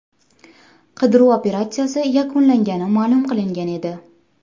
Qidiruv operatsiyasi yakunlangani ma’lum qilingan edi .